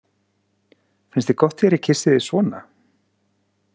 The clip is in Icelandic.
Finnst þér gott þegar ég kyssi þig svona?